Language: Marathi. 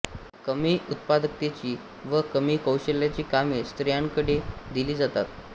कमी उत्पादकतेची व कमी कौशल्याची कामे स्रियांकडे दिली जातात